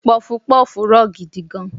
puff-puff to gidi gan